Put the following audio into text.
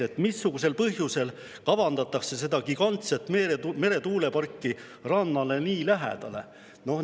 Teiseks: missugusel põhjusel kavandatakse seda gigantset meretuuleparki rannale nii lähedale?